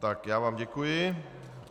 Tak, já vám děkuji.